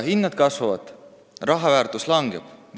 Hinnad kasvavad ja raha väärtus langeb.